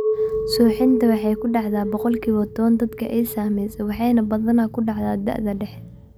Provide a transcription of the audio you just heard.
Suuxdintu waxay ku dhacdaa boqolkiba tawan dadka ay saamaysay waxayna badanaa ku dhacdaa da'da dhexe.